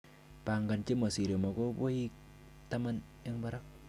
Pangan chemosire mokuboik taman en barak.